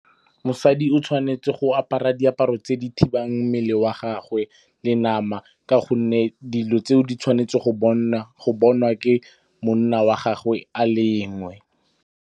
Mosadi o tshwanetse go apara diaparo tse di thibang mmele wa gagwe le nama ka gonne dilo tseo di tshwanetse go bonwa ke monna wa gagwe a le .